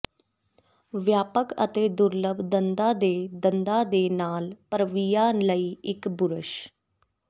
ਵਿਆਪਕ ਅਤੇ ਦੁਰਲੱਭ ਦੰਦਾਂ ਦੇ ਦੰਦਾਂ ਦੇ ਨਾਲ ਭਰਵੀਆਂ ਲਈ ਇੱਕ ਬੁਰਸ਼